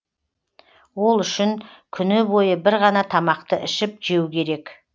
ол үшін күні бойы бір ғана тамақты ішіп жеу керек